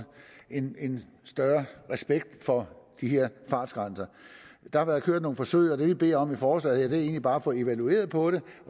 en en større respekt for de her fartgrænser der har været kørt nogle forsøg og det vi beder om i forslaget er egentlig bare at få det evalueret og